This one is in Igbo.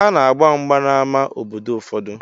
Ana-agba mgba n'amá obodo ụfọdụ.